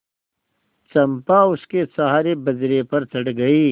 चंपा उसके सहारे बजरे पर चढ़ गई